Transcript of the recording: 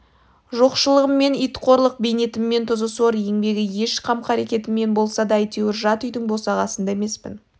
жоқшылығыммен ит қорлық бейнетіммен тұзы сор еңбегі еш қам-қарекетіммен болсам да әйтеуір жат үйдің босағасында емеспін